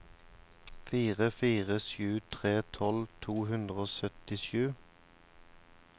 fire fire sju tre tolv to hundre og syttisju